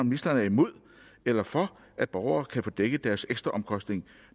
ministeren er imod eller for at borgere kan få dækket deres ekstraomkostninger